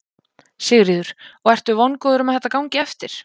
Sigríður: Og ertu vongóður um að þetta gangi eftir?